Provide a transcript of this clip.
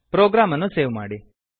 program ಅನ್ನು save ಮಾಡಿ